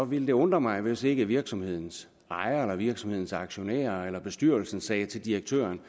ville det undre mig hvis ikke virksomhedens ejer eller virksomhedens aktionærer eller bestyrelsen sagde til direktøren